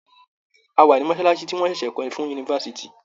A wà ní mọ́ṣáláṣí tí wọ́n ṣẹ̀ṣẹ̀ kọ́ fún yunifásitì.